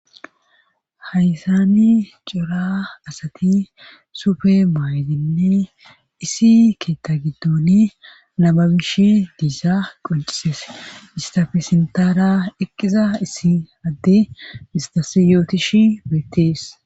Haysani cora asati sufe maayidinne isi keetta giddoni namabish diisa qoncises istafe sintara eqqiza issi adde istasi yootish beettees.